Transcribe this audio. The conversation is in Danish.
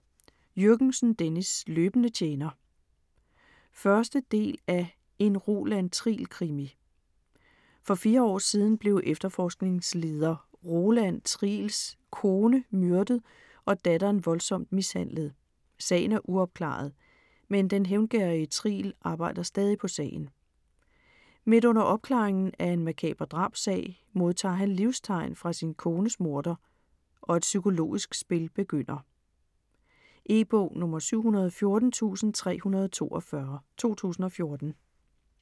Jürgensen, Dennis: Løbende tjener 1. del af En Roland Triel krimi. For fire år siden blev efterforskningsleder Roland Triels kone myrdet og datteren voldsomt mishandlet. Sagen er uopklaret, men den hævngerrige Triel arbejder stadig på sagen. Midt under opklaringen af en makaber drabssag, modtager han livstegn fra sin kones morder, og et psykologisk spil begynder. E-bog 714342 2014.